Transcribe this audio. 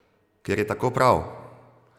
Ker je tako prav!